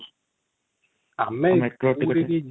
ଆମେ କୋଉଠି କି ଯିବା